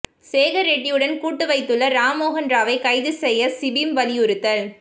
சேகர் ரெட்டியுடன் கூட்டு வைத்துள்ள ராம்மோகன் ராவை கைது செய்ய சிபிம் வலியுறுத்தல்